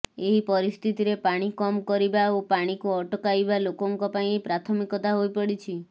ଏହି ପରିସ୍ଥିତିରେ ପାଣି କମ୍ କରିବା ଓ ପାଣିକୁ ଅଟକାଇବା ଲୋକଙ୍କ ପାଇଁ ପ୍ରାଥମିକତା ହୋଇପଡ଼ିଛି